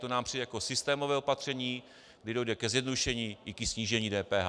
To nám přijde jako systémové opatření, kdy dojde ke zjednodušení i ke snížení DPH.